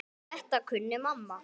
Þetta kunni mamma.